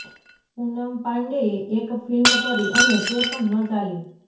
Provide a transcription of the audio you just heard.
પૂનમ પાંડેએ એક ફિલ્મ કરી અને તે પણ ન ચાલી